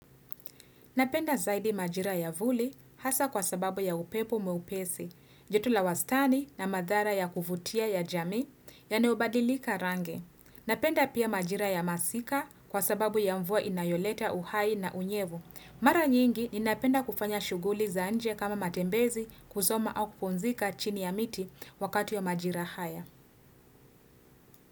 Napenda zaidi majira ya vuli hasa kwa sababu ya upepo mwepesi, joto la wastani na madhara ya kuvutia ya jamii yanaobadilika rangi. Napenda pia majira ya masika kwa sababu ya mvua inayoleta uhai na unyevu. Mara nyingi ninapenda kufanya shughuli za nje kama matembezi kusoma au kupumzika chini ya miti wakati wa majira haya.